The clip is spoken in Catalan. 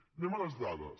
passem a les dades